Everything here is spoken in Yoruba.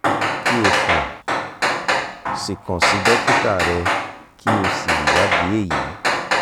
ki o kan si kan si dokita rẹ ki o si iwadi eyi